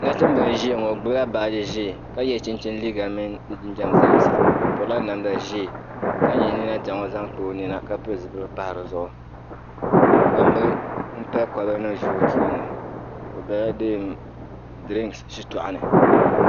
nachimbila n-ʒia ŋɔ o gbubila baaji ʒee ka ye chinchini liiga mini di jinjam zaasa o pirila namda ʒee ka nya nina diɣi ŋɔ zaŋ kpa o nina ka pili zipiligu m-pahi di zuɣu gbambila m-pali kolibanima n-ʒi o tooni o bela deem dirinsi shitɔɣu ni